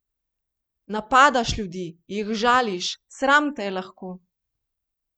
Napadaš ljudi, jih žališ, sram te je lahko!